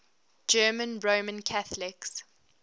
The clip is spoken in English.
german roman catholics